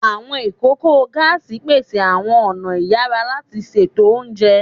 Awọn ikoko gaasi pese awọn ọna iyara lati ṣeto ounjẹ